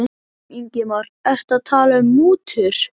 Ingimar: Ertu að tala um mútur?